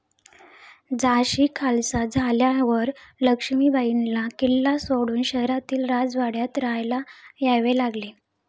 झाशी खालसा झाल्यावर लक्ष्मीबाईंना किल्ला सोडून शहरातील राजवाड्यात राहायला यावे लागले.